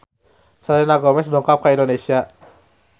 Selena Gomez dongkap ka Indonesia